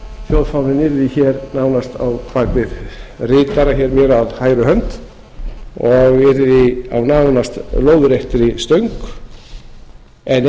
þjóðfáninn yrði nánast á bak við ritara mér á hægri hönd og yrði á nánast lóðréttri stöng en